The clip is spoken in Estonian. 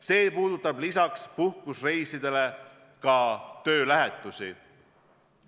See puudutab lisaks puhkusereisidele ka töölähetusi.